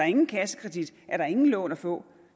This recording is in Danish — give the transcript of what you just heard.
ingen kassekredit er der ingen lån at få